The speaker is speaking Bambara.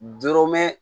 Doro mɛn